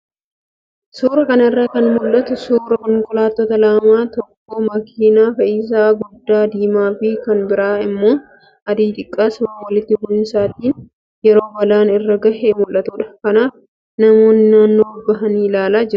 Suuraa kanarraa kan mul'atu suuraa konkolaattota lama tokko makiinaa fe'iisaa guddaa diimaa fi kan biraa immoo adii xiqqaa sababa walitti bu'insaatiin yeroo balaan irra gahee mul'atudha. Kanaaf namoonni naannoo bahanii ilaalaa jiru.